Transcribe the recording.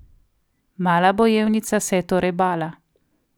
Mala bojevnica se je torej bala.